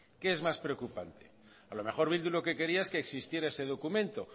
qué es más preocupante a lo mejor bildu lo que quería es que existiera ese documento